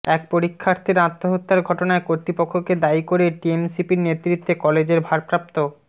এক পরীক্ষার্থীর আত্মহত্যার ঘটনায় কর্তৃপক্ষকে দায়ী করে টিএমসিপির নেতৃত্বে কলেজের ভারপ্রাপ্ত